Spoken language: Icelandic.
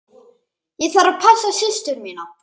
Ég þarf að passa systur mína.